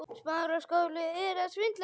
Það lá ekki neitt á.